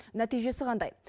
нәтижесі қандай